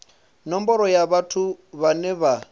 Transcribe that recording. nomboro ya vhathu vhane vha